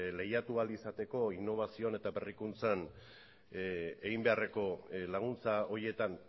lehiatu ahal izateko innobazioan eta berrikuntzan egin beharreko laguntza horietan